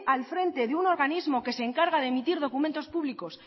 al frente de un organismo que se encarga de emitir documentos públicos